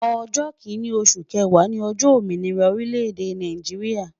Ojo kinni osu kewaa ni ojo ominira orile-ede Naijiria